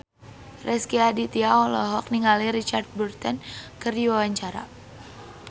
Rezky Aditya olohok ningali Richard Burton keur diwawancara